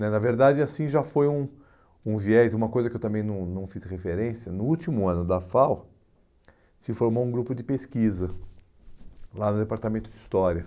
Né na verdade, assim já foi um um viés, uma coisa que eu também não não fiz referência, no último ano da FAU se formou um grupo de pesquisa lá no Departamento de História.